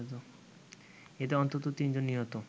এতে অন্তত তিন জন নিহত